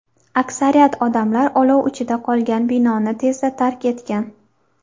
Aksariyat odamlar olov ichida qolgan binoni tezda tark etgan.